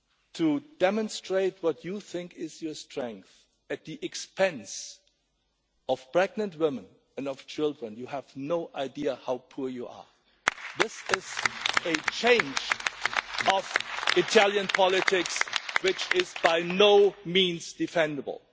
to demonstrate what you think is your strength at the expense of pregnant women and children, you have no idea how poor you are. This is a change in Italian politics which is by no means defendable.